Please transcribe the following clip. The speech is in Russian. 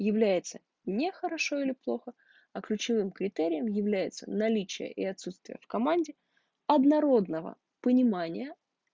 является не хорошо или плохо а ключевым критерием является наличие и отсутствие в команде однородного понимания